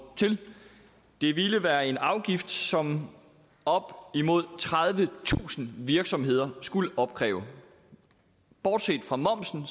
til det ville være en afgift som op imod tredivetusind virksomheder skulle opkræve bortset fra momsen